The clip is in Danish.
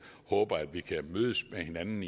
håber at vi kan mødes med hinanden